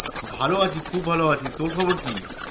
ভালো আছি খুব ভালো আছি তোর খবর কি?